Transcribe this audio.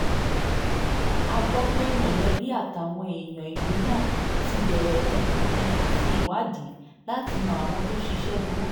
a gbọ́ pé mọ̀lẹ́bí àtàwọn èèyàn ìlú náà ti bẹ̀rẹ̀ ìtọpinpin àti ìwádìí láti mọ àwọn tó ṣiṣẹ́ burúkú náà